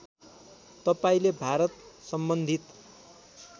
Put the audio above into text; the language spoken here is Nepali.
तपाईँले भारत सम्बन्धित